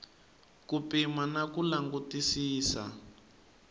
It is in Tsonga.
ku pima na ku langutisisa